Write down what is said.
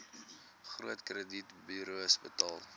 groot kredietburos betaal